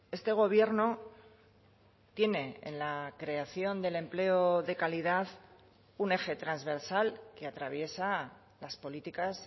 este gobierno tiene en la creación del empleo de calidad un eje transversal que atraviesa las políticas